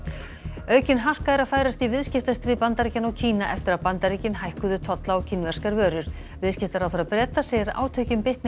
aukin harka er að færast í viðskiptastríð Bandaríkjanna og Kína eftir að Bandaríkin hækkuðu tolla á kínverskar vörur viðskiptaráðherra Breta segir að átökin bitni á